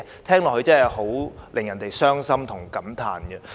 聽起來真的令人傷心及感嘆。